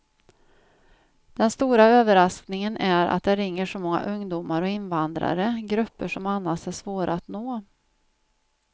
Den stora överraskningen är att det ringer så många ungdomar och invandrare, grupper som annars är svåra att nå.